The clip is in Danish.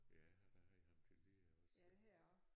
Ja jeg har da haft ham til lærer også så